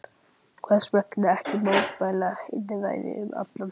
Hversvegna ekki mótmæla einræði um allan heim?